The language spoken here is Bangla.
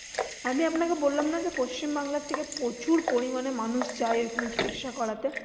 আমি আপনাকে বললাম না যে পশ্চিমবাংলা থেকে প্রচুর পরিমানে মানুষ যায় ওখানে চিকিৎসা করাতে।